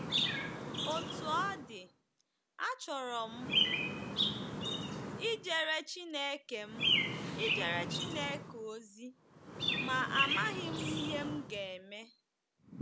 Otú ọ dị, achọrọ m ijere Chineke m ijere Chineke ozi, ma amaghị m ihe m ga-eme.